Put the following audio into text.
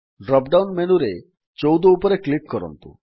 drop down ମେନୁରେ ୧୪ ଉପରେ click କରନ୍ତୁ